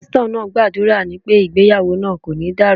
Pásítọ̀ náà gbàdúrà wípé ìgbéyàwó náà kò ní dàrú.